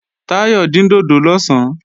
Táyọ̀ dín dòdò lọ̀sán